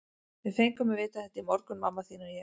Við fengum að vita þetta í morgun, mamma þín og ég.